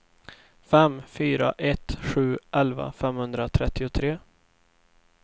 fem fyra ett sju elva femhundratrettiotre